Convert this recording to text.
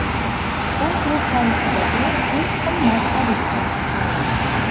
U klub tarixidagi eng qimmat xaridga aylandi.